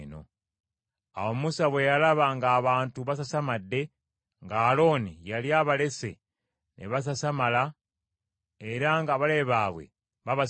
Awo Musa bwe yalaba ng’abantu basasamadde, nga Alooni yali abalese ne basasamala, era ng’abalabe baabwe babasekerera,